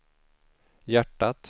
hjärtat